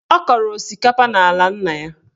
Ọ kọrọ osikapa n'ala nna ya.